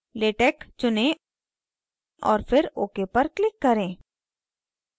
latex चुनें और फिर ok पर click करें